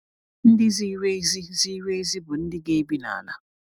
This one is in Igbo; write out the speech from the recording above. Ndị ziri ezi ziri ezi bụ ndị ga-ebi n’ala.